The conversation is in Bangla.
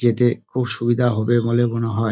যেতে খুব সুবিধা হবে বলে মনে হয়।